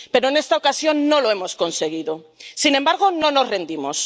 Pero en esta ocasión no lo hemos conseguido. Sin embargo, no nos rendimos.